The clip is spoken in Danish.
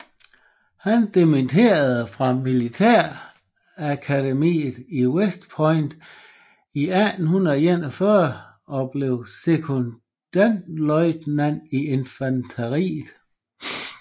Han dimitterede fra Militærakademiet i West Point i 1841 og blev sekondløjtnant i infanteriet